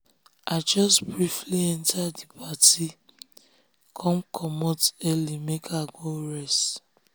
i jus briefly enter d party come comot early make i go rest.